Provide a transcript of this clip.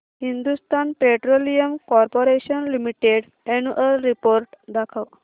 Hindustan petroleum corporation limited annual report दाखव